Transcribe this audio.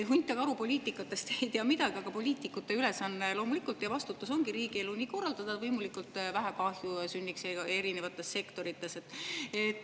Hunt ja karu ei tea poliitikast midagi, aga poliitikute ülesanne ja vastutus on loomulikult korraldada riigielu nii, et erinevates sektorites sünniks võimalikult vähe kahju.